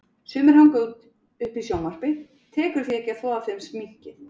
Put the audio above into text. Sumir hanga uppi í sjónvarpi, tekur því ekki að þvo af þeim sminkið.